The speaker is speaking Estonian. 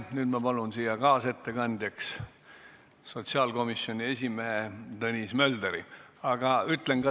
Nüüd ma palun siia kaasettekandjaks sotsiaalkomisjoni esimehe Tõnis Möldri!